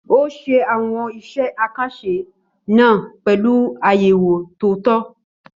Ó ṣe àwọn iṣẹ́ àkànṣe náà pẹ̀lú àyẹ̀wò tó tọ́.